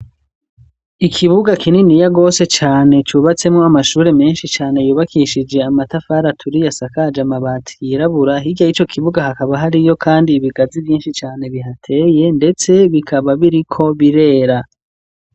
Ikibuga kininiya rwose cane cubatsemwo amashure menshi cane yubakishije amatafara aturiya asakaje amabati yirabura, hirya yico kibuga hakaba hariyo kandi ibigazi vyinshi cane bihateye ndetse bikaba biriko birera.